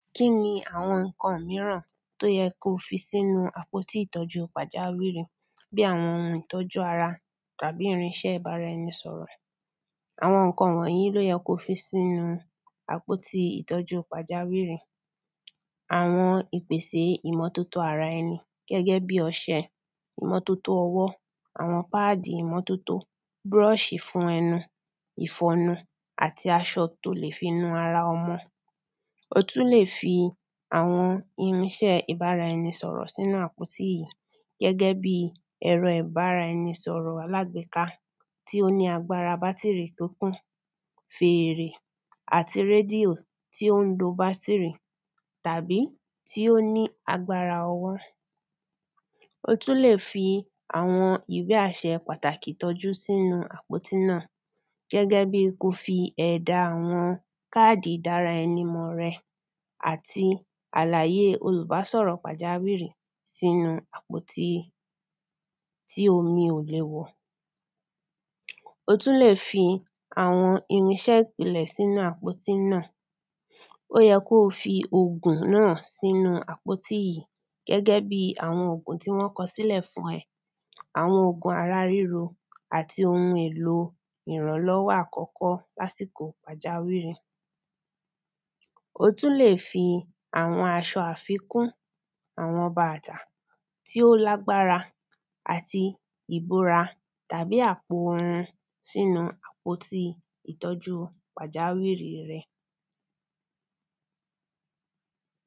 Kíni àwọn nǹkan míràn tí ó yẹ kí ó fi sínú àpóti ìtọ́jú pàjáwìrì bí àwọn oun ìtọ́jú ara tàbí irinṣẹ́ ìbáraẹnisọ̀rọ̀ Àwọn nǹkan wọ̀nyí ni ó yẹ kí o fi sínú àpótí ìtọ́jú pàjáwìrì Àwọn ìpèsè ìmọ́tótó araẹni gẹ́gẹ́ bí ọṣẹ ìmọ́tótó ọwọ́ àwọn pad ìmọ́tótó brush ìfọnu àti aṣọ tí o lè fi nu ara ọmọ O tún lè fi àwọn irinṣẹ́ ìbáraẹnisọ̀rọ̀ sínú àpótí yìí gẹ́gẹ́ bíi ẹ̀rọ ìbáraẹnisọ̀rọ̀ alágbéká tí ó ní agbára bátìrì kíkún fèrè àti radio tí ó ń lo bátìrì tàbí tí o ní agbára ọwọ́ O tún lè fi àwọn ìwé àṣẹ pàtàkì ìtọ́jú sínu àpótí náà gẹ́gẹ́ bíi kí o fi ẹ̀dá àwọn card ìdáraẹnimọ̀ rẹ àti àlàyé olùbásọ̀rọ̀ pàjáwìrì sínú àpótí tí omi ò lè wọ̀ Ó tún lè fi àwọn irinṣẹ́ ìpìnlẹ̀ sínú àpótí náà Ó yẹ kí o fi ògùn náà sínú àpótí yìí gẹ́gẹ́ bíi àwọn ògùn tí wọ́n kọ sílẹ̀ fún ẹ Àwọn ògùn ara ríro àti oun èlò ìrànlọ́wọ́ àkọ́kọ́ lásìkò pàjáwìrì O tún lè fi àwọn aṣọ àfikún àwọn bàtà tí ó lágbára àti ìbora tàbí apon sínú àpótí ìtọ́jú pàjáwìrì rẹ